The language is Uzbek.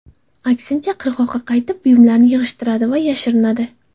Aksincha, qirg‘oqqa qaytib, buyumlarini yig‘ishtiradi va yashirinadi.